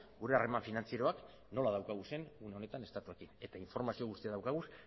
gure harreman finantzarioak nola ditugun momentu honetan estatuarekin eta informazio guztia daukagu